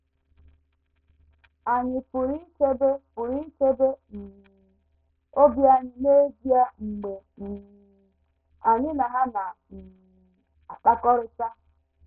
Ànyị pụrụ ichebe pụrụ ichebe um obi anyị n’ezie mgbe um anyị na ha na - um akpakọrịta?